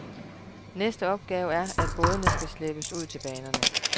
Næste opgave er, at bådene skal slæbes ud til banerne.